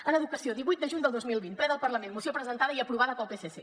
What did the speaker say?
en educació divuit de juny del dos mil vint ple del parlament moció presentada i aprovada pel psc